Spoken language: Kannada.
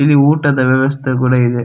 ಇಲ್ಲಿ ಊಟದ ವ್ಯವಸ್ಥೆ ಕೂಡ ಇದೆ.